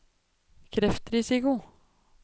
kreftrisiko